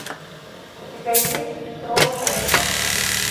у тебя есть трон эльфов